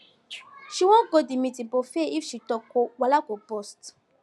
she wan go the meeting but fear if she talk wahala go burst